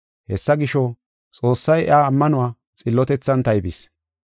Hessa gisho, Xoossay iya ammanuwa xillotethan taybis.